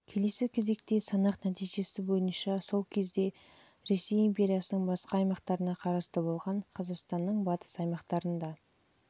келесі кезекте санақ нәтижесі бойынша сол кезде ресей империясының басқа аймақтарына қарасты болған қазақстанның батыс аймақтарындағы